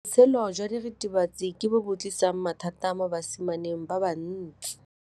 Botshelo jwa diritibatsi ke bo tlisitse mathata mo basimaneng ba bantsi.